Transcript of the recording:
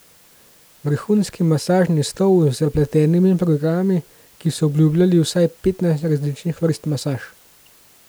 Vrhunski masažni stol z zapletenimi programi, ki so obljubljali vsaj petnajst različnih vrst masaž.